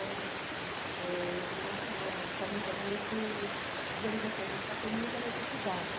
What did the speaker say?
Eh eu vim de uma de uma família muito, digamos assim, a gente passou muita necessidade.